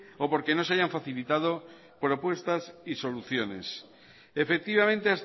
o porque no se hayan facilitado propuestas y soluciones efectivamente